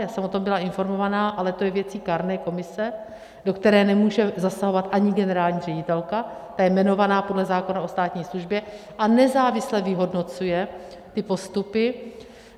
Já jsem o tom byla informovaná, ale to je věcí kárné komise, do které nemůže zasahovat ani generální ředitelka, ta je jmenovaná podle zákona o státní službě a nezávisle vyhodnocuje ty postupy.